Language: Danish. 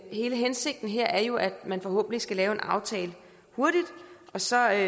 hele hensigten her er jo at man forhåbentlig skal lave en aftale hurtigt og så er